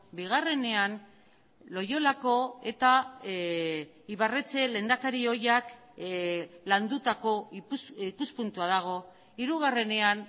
bigarrenean loiolako eta ibarretxe lehendakari ohiak landutako ikuspuntua dago hirugarrenean